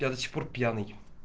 я до сих пор пьяный